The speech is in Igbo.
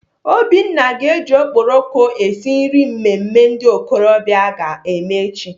Obinna ga-eji okporoko esi nri mmemme ndị okorobịa aga eme echi.